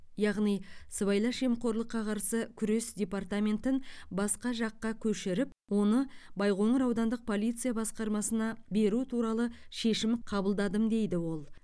яғни сыбайлас жемқорлыққа қарсы күрес департаментін басқа жаққа көшіріп оны байқоңыр аудандық полиция басқармасына беру туралы шешім қабылдадым дейді ол